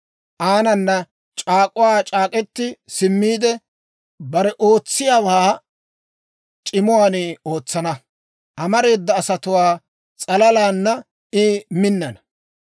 Aanana c'aak'uwaa c'aak'k'etti simmiide, bare ootsiyaawaa c'imuwaan ootsana; amareeda asatuwaa s'alalana I minnana.